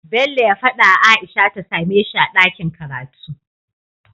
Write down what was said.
Bello ya fada wa aisha ta sameshi a dakin karatu